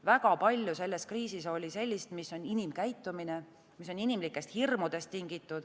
Väga palju selles kriisis oli sellist, mis on inimkäitumine, mis on tingitud inimlikest hirmudest.